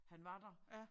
Han var der